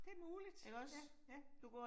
Det muligt. Ja, ja